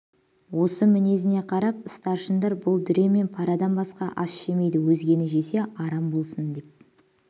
осы мінезіне қарап старшындар бұл дүре мен парадан басқа ас жемейді өзгені жесе арам болсын деп